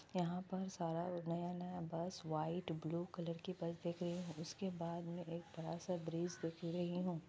यहाँ पर सारा नया नया बस व्हाईट ब्लू कलर की बस देख रही हुं। उसके बाद मै एक बड़ा सा ब्रिज दिख रही हुं।